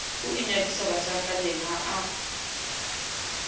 o inyadisa bahlankaneng ha a